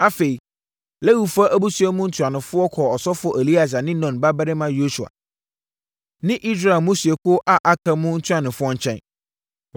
Afei, Lewifoɔ abusua mu ntuanofoɔ kɔɔ ɔsɔfoɔ Eleasa ne Nun babarima Yosua ne Israel mmusuakuo a aka mu ntuanofoɔ nkyɛn.